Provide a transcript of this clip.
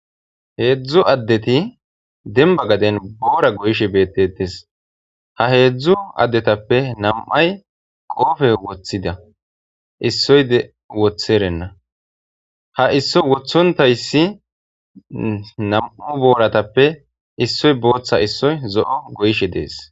Heedzdzu addeti demba gaden boora goyishe beettetes ha heedzdzu addetappe nam'ay qoofe woththida issoyde wotherenna ha issoy wothontayssi nam'u booratappe issoy booththa issoy zo'o goyishe dees.